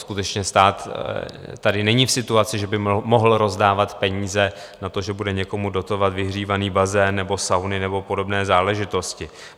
Skutečně, stát tady není v situaci, že by mohl rozdávat peníze na to, že bude někomu dotovat vyhřívaný bazén nebo sauny nebo podobné záležitosti.